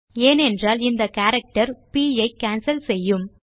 ஏனென்றால் இந்த கேரக்டர் ப் ஐ கேன்சல் செய்யும்